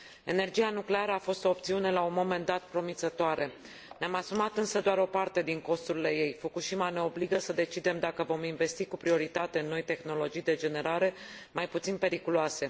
Energia nucleară a fost o opțiune la un moment dat promițătoare. Ne am asumat însă doar o parte din costurile ei. Fukushima ne obligă să decidem dacă vom investi cu prioritate în noi tehnologii de generare mai puțin periculoase.